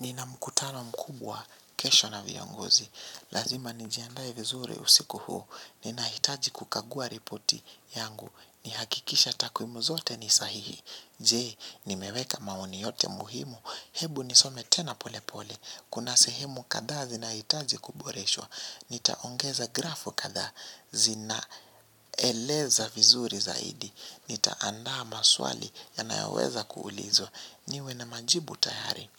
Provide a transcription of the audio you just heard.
Nina mkutano mkubwa, kesho na viongozi. Lazima njiandae vizuri usiku huu. Ninahitaji kukagua ripoti yangu. Nihakikishe takwimu zote ni sahihi. Je, nimeweka maoni yote muhimu. Hebu nisome tena pole pole. Kuna sehemu kadha zinahitaji kuboreshwa. Nitaongeza grafu kadha zinaeleza vizuri zaidi. Nitaandaa maswali yanayoweza kuulizwa. Niwe na majibu tayari.